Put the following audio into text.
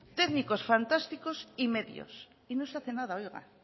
técnicos fantásticos y medios y no se hace nada oiga